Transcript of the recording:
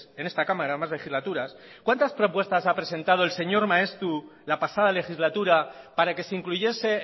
en esta cámara más legislaturas cuántas propuestas ha presentado el señor maeztu la pasada legislatura para que se incluyese